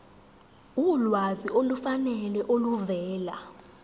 ulwazi olufanele oluvela